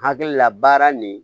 Hakili la baara nin